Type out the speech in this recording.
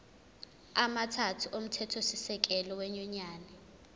amathathu omthethosisekelo wenyunyane